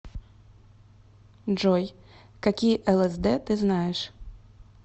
джой какие лсд ты знаешь